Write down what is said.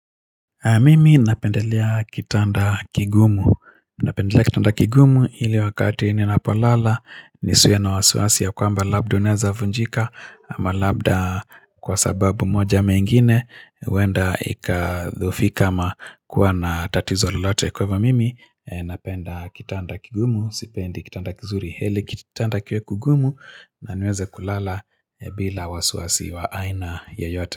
Mimi napendelea kitanda kigumu, napendelea kitanda kigumu ili wakati ninapolala, nisiwe na wasawasi ya kwamba labda unaeza vunjika, ama labda kwa sababu moja ama engine, huenda ika dhoofika ama kuwa na tatizo lolote kwa hivo mimi e napenda kitanda kigumu, sipendi kitanda kizuri heli kit tanda kiwe kugumu na niweze kulala e bila wasiwasi wa aina yoyote.